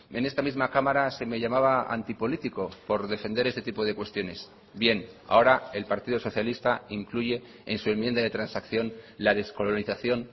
en esta misma cámara se me llamaba antipolítico por defender este tipo de cuestiones bien ahora el partido socialista incluye en su enmienda de transacción la descolonización